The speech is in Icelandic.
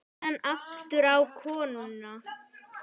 Síðan aftur á konuna.